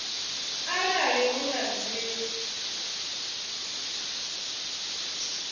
arali hu na zwine vha